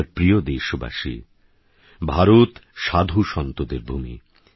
আমারপ্রিয়দেশবাসী ভারতসাধুসন্তদেরভূমি